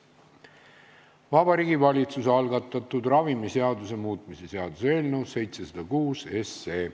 Vabariigi Valitsuse algatatud ravimiseaduse muutmise seaduse eelnõu 706.